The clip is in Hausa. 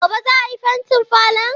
Gobe ​​za a yi fentin falon?